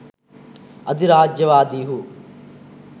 අධිරාජ්‍යවාදීහු